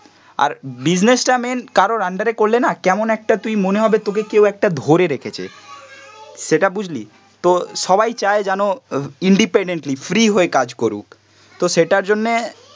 আর business টা main কারোর under এ করলে না কেমন একটা তুই মনে হবে তোকে কেউ একটা ধরে রেখেছে, সেটা বুঝলি, তো সবাই চায় যেন ইন্ডেপেন্ডেন্টলি ফ্রি হয়ে কাজ করুক, তো সেটার জন্যে